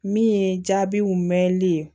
Min ye jaabiw mɛnli ye